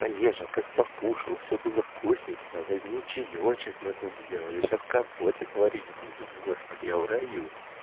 олежа как покушал все было вкусненько возьми чаёчек мы тут сделали сейчас компотик варить будем господи я в раю